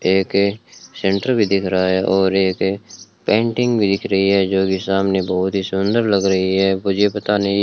एक सेंटर भी दिख रहा है और एक पेंटिंग भी दिख रही है जोकि सामने बहोत ही सुंदर लग रही है मुझे पता नहीं --